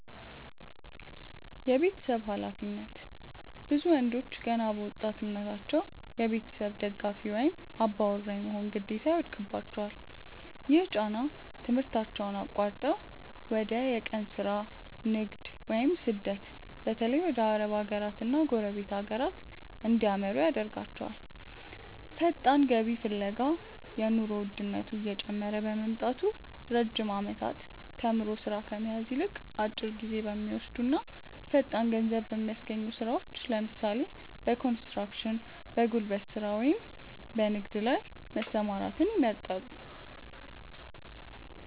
የቤተሰብ ኃላፊነት፦ ብዙ ወንዶች ገና በወጣትነታቸው የቤተሰብ ደጋፊ ወይም "አባወራ" የመሆን ግዴታ ይወድቅባቸዋል። ይህ ጫና ትምህርታቸውን አቋርጠው ወደ የቀን ሥራ፣ ንግድ ወይም ስደት (በተለይ ወደ አረብ ሀገራትና ጎረቤት ሀገራት) እንዲያመሩ ያደርጋቸዋል። ፈጣን ገቢ ፍለጋ፦ የኑሮ ውድነቱ እየጨመረ በመምጣቱ፣ ረጅም ዓመታት ተምሮ ሥራ ከመያዝ ይልቅ፣ አጭር ጊዜ በሚወስዱና ፈጣን ገንዘብ በሚያስገኙ ሥራዎች (ለምሳሌ፦ በኮንስትራክሽን፣ በጉልበት ሥራ ወይም በንግድ) ላይ መሰማራትን ይመርጣሉ።